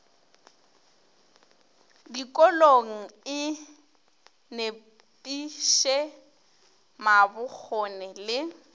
dikolong e nepiše mabokgone le